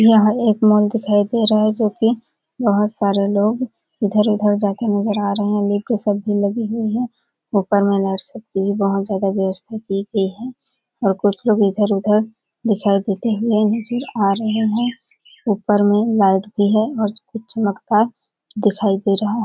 यह एक मॉल दिखाई दे रहा है जोकि बहुत सारे लोग इधर-उधर जाते नजर आ रहे है वेटर्स सब भी लगी हुई है ऊपर में नर्स की बहुत ज्यादा व्यवस्था की गई है और कुछ लोग इधर-उधर दिखाई देते हुए नजर आ रहे है ऊपर में लाइट भी है और कुछ मक्का दिखाई दे रहा हैं।